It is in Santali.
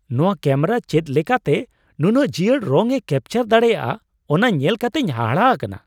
ᱱᱚᱶᱟ ᱠᱮᱹᱢᱮᱨᱟ ᱪᱮᱫ ᱞᱮᱠᱟᱛᱮ ᱱᱩᱱᱟᱹᱜ ᱡᱤᱭᱟᱹᱲ ᱨᱚᱝᱼᱮ ᱠᱮᱹᱯᱪᱟᱨ ᱫᱟᱲᱮᱭᱟᱜᱼᱟ ᱚᱱᱟ ᱧᱮᱞ ᱠᱟᱛᱮᱧ ᱦᱟᱦᱟᱲᱟᱜ ᱟᱠᱟᱱᱟ ᱾